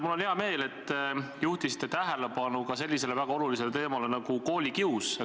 Mul on hea meel, et te juhtisite tähelepanu ka sellisele olulisele teemale nagu koolikius.